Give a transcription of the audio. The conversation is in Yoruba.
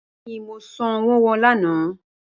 Bẹẹni Mo sanwo wọn lana